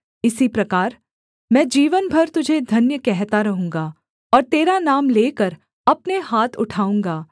इसी प्रकार मैं जीवन भर तुझे धन्य कहता रहूँगा और तेरा नाम लेकर अपने हाथ उठाऊँगा